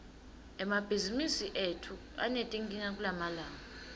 emabhizimisi etfu anetinkinga kulamalanga